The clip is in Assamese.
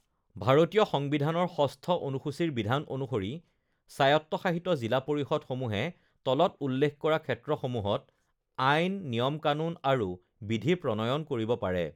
ভাৰতীয় সংবিধানৰ ষষ্ঠ অনুসূচীৰ বিধান অনুসৰি স্বায়ত্তশাসিত জিলা পৰিষদসমূহে তলত উল্লেখ কৰা ক্ষেত্ৰসমূত আইন, নিয়ম-কানুন আৰু বিধি প্ৰণয়ন কৰিব পাৰে: